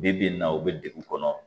Bi bi in na u bɛ degu kɔnɔ